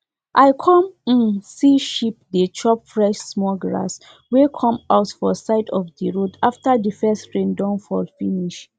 for harmattan time we dey plant food wey be plant wey dey grow fast um for field so the grass go better.